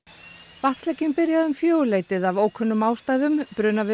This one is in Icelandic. vatnslekinn byrjaði um fjögurleytið af ókunnum ástæðum